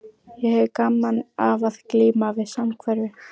Ég hefi gaman af að glíma við samhverfu.